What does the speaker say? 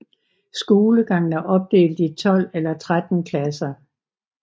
Skolegangen er opdelt i 12 eller 13 klasser